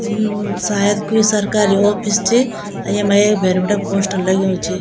यु सायद कुई सरकारी ऑफिस च और यमा एक भैर बिटि पोस्टर लग्युं च।